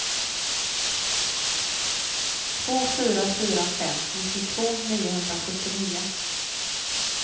två fyra fyra fem nittiotvå niohundrasjuttionio